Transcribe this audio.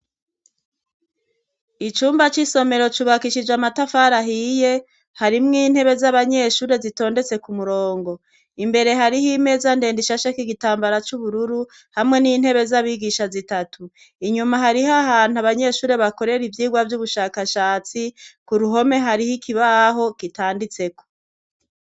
Icumba c'isomero cubakishije amatafarahoiye harimwo intebe z'abanyeshure zitondetse ku murongo imbere hariho imeza ndenda ishasheka igitambara c'ubururu hamwe n'intebe z'abigisha zitatu inyuma hariho ahantu abanyeshure bakorera ivyirwa vy'ubushakashatsi ku ruhome hariho ikibaho kitanditseko.